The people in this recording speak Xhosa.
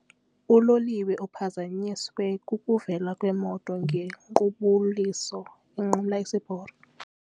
Uloliwe uphazanyiswe kukuvela kwemoto ngequbuliso inqumla isiporo.